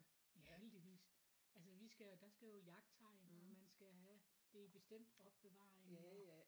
Ja heldigvis altså vi skal jo der skal jo jagttegn og man skal have det i et bestemt opbevaring og